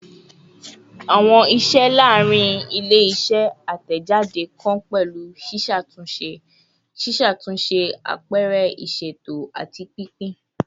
Awọn iṣẹ laarin ile-iṣẹ atẹjade kan pẹlu ṣiṣatunṣe, ṣiṣatunṣe, apẹrẹ iṣeto, ati pinpin